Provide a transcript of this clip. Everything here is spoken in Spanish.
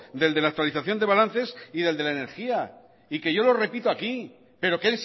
del de la actualización de balances y del de la energía y que yo lo repito aquí pero que